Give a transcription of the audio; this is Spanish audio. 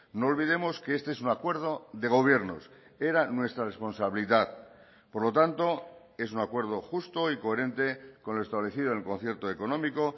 no olvidemos que este es un acuerdo de gobiernos era nuestra responsabilidad por lo tanto es un acuerdo justo y coherente con lo establecido en el concierto económico